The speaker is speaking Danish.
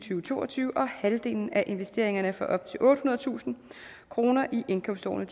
to og tyve og halvdelen af investeringerne for op til ottehundredetusind kroner i indkomstårene